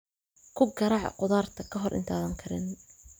Ku garaac khudaarta ka hor intaadan karinin.